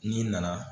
N'i nana